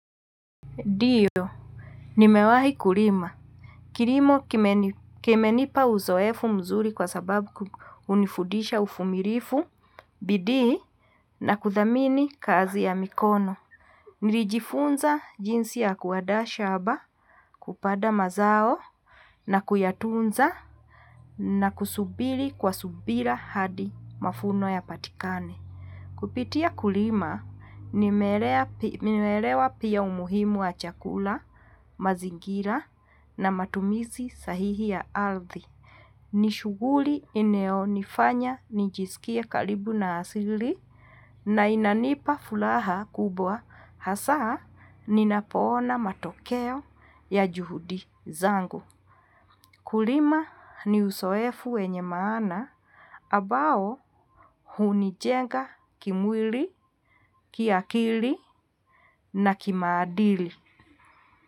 Ndio, nimewahi kulima. Kilimo kimenipa uzoefu mzuri kwa sababu hunifudisha uvumilivu, bidii, na kuthamini kazi ya mikono. Nilijifunza jinsi ya kuandaa shamba, kupanda mazao, na kuyatunza, na kusubiri kwa subira hadi mafuno yapatikane. Kupitia kulima nimeelewa pia umuhimu wa chakula, mazingira na matumizi sahihi ya ardhi. Ni shughuli inayo nifanya nijisikie karibu na asili na inanipa furaha kubwa hasaa ninapoona matokeo ya juhudi zangu. Kulima ni uzoefu wenye maana ambao hunijenga kimwili, kiakili, na kimaadili.